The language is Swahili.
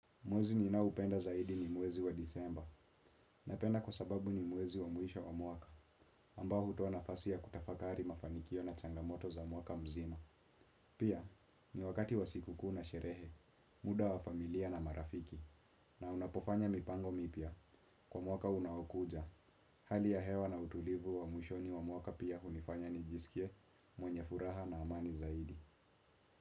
Mwezi ninaoupenda zaidi ni mwezi wa Disemba. Napenda kwa sababu ni mwezi wa mwisho wa mwaka ambao hutoa nafasi ya kutafakari mafanikio na changamoto za mwaka mzima. Pia ni wakati wa sikukuu na sherehe. Muda wa familia na marafiki. Na unapofanya mipango mipya kwa mwaka unaokuja. Hali ya hewa na utulivu wa mwishoni wa mwaka pia hunifanya nijisikie mwenye furaha na amani zaidi.